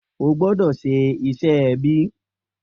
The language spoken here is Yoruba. O gbọ́dọ̀ ṣe iṣẹ́ ẹbí.